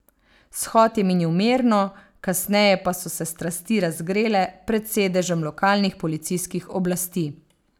Shod je minil mirno, kasneje pa so se strasti razgrele pred sedežem lokalnih policijskih oblasti.